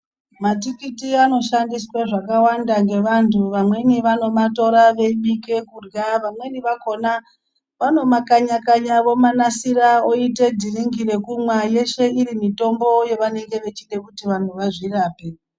Matikiti anoshandiswa zvakawanda ngevantu, vamweni vanomatora veyibike kurya, vamweni vakona vanomakanyakanya, vomanasira oyite dhiringi rekumwa, yeshe iri mitombo yavanenge vechida kuti vantu vazvirape.